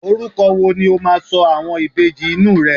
oruko wo ni o ma so àwọn Ìbejì inú rẹ